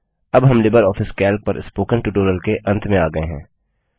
अब हम LibreOffice Calc पर स्पोकन ट्यूटोरियल के अंत में आ गये हैं